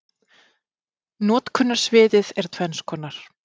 Notkunarsviðið er tvenns konar.